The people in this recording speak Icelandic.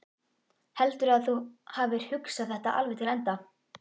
Heldurðu að þú hafir hugsað þetta alveg til enda?